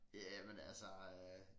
Jamen altså øh